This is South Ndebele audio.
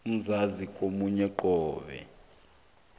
umzuzi ngamunye qobe